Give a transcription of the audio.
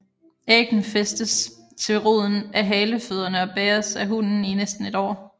Æggene fæstes til roden af halefødderne og bæres af hunnen i næsten et år